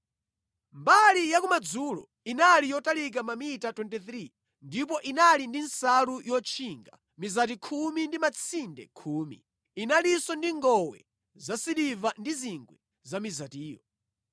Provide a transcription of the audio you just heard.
Mbali yakumadzulo inali yotalika mamita 23 ndipo inali ndi nsalu yotchinga, mizati khumi ndi matsinde khumi. Inalinso ndi ngowe zasiliva ndi zingwe za mizatiyo.